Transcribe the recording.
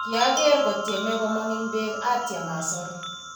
Kiakeer kotiemei komong eng beek atiem asor.